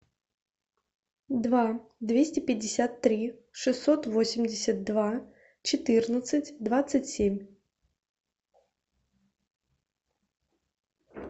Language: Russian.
два двести пятьдесят три шестьсот восемьдесят два четырнадцать двадцать семь